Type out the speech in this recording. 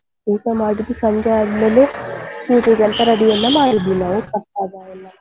ಊಟ ಮಾಡಿದ್ವಿ ಸಂಜೆ ಆದ್ಮೇಲೆ ಪೂಜೆಗೆಂತ ready ಎಲ್ಲ ಮಾಡಿದ್ವಿ ನಾವು ಪ್ರಸಾದ ಎಲ್ಲ.